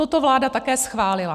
Toto vláda také schválila.